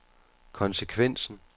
konsekvensen